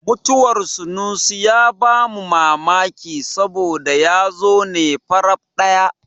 Mutuwar sunusi ya ba mu mamaki saboda ya zo ne faraf ɗaya.